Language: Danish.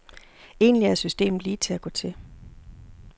Egentlig er systemet lige til at gå til.